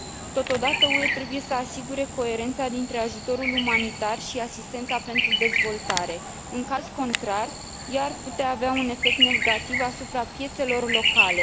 Totodată, UE trebuie să asigure coerența dintre ajutorul umanitar și asistența pentru dezvoltare, în caz contrar ea ar putea avea un efect negativ asupra piețelor locale.